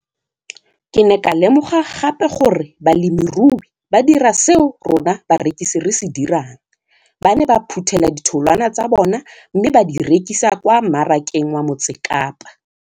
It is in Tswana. Ke ne ka lemoga gape gore balemirui ba dira seo rona barekisi re se dirang ba ne ba phuthela ditholwana tsa bona mme ba di rekisa kwa marakeng wa Motsekapa.